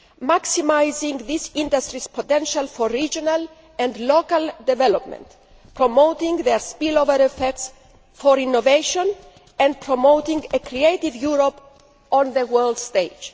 maximising these industries' potential for regional and local development, promoting their spillover effects in terms of innovation, and promoting a creative Europe on the world stage.